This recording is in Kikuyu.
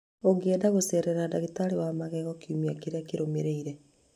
Ũngĩenda gũceera ndagĩtarĩ wa magego kiumia kĩrĩa kĩrũmĩrĩire